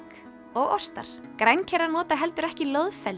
og ostar grænkerar nota heldur ekki